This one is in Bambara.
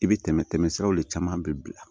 I bɛ tɛmɛ tɛmɛ siraw de caman bɛ bila